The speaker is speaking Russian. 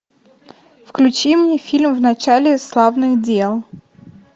включи мне фильм в начале славных дел